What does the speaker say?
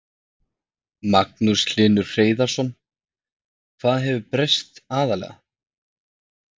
Magnús Hlynur Hreiðarsson: Hvað hefur breyst aðallega?